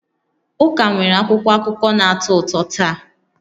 Ụka nwere akwụkwọ akụkọ na-atọ ụtọ taa